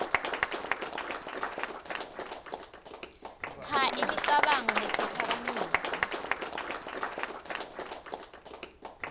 kha imicabango netiphakamiso